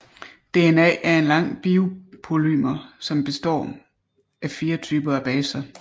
DNA er en lang biopolymer som består af fire typer af baser